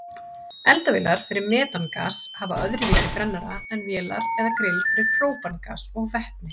Eldavélar fyrir metangas hafa öðruvísi brennara en vélar eða grill fyrir própangas og vetni.